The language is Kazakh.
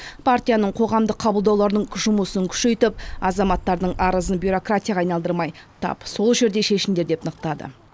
партияның қоғамдық қабылдауларының жұмысын күшейтіп азаматтардың арызын бюроракратияға айналдырмай тап сол жерде шешіңдер деп нықтады